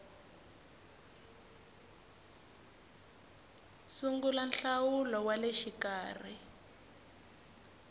sungula nhlawulo wa le xikarhi